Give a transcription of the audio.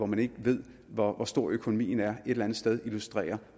man ikke ved hvor stor økonomien er et eller andet sted illustrerer